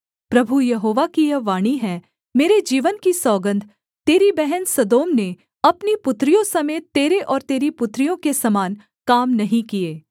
प्रभु यहोवा की यह वाणी है मेरे जीवन की सौगन्ध तेरी बहन सदोम ने अपनी पुत्रियों समेत तेरे और तेरी पुत्रियों के समान काम नहीं किए